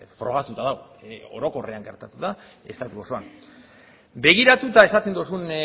frogatuta dago orokorrean gertatu da estatu osoan begiratuta esaten duzun